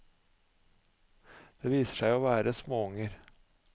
Det viser seg å være småunger.